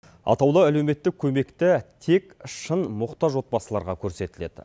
атаулы әлеуметтік көмекті тек шын мұқтаж отбасыларға көрсетіледі